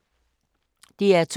DR2